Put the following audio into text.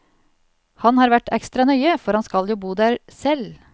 Han har vært ekstra nøye, for han skal jo bo der selv.